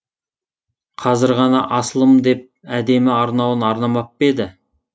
қазір ғана асылым деп әдемі арнауын арнамап па еді